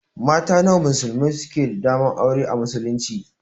Mata nawa musulmai suke da daman aura a muslunci?